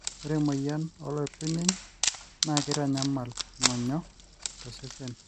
ore emoyian oloipirnyiny naa keitanyamal ngonyo to sosen